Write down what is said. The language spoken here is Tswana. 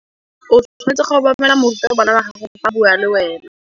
O tshwanetse go obamela morutabana wa gago fa a bua le wena.